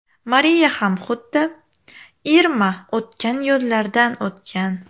Mariya ham xuddi Irma o‘tgan yo‘llardan o‘tgan.